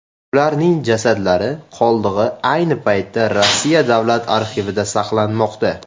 Ularning jasadlari qoldig‘i ayni paytda Rossiya davlat arxivida saqlanmoqda.